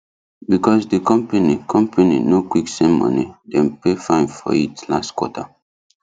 because the company company no quick send money dem pay fine for it last quarter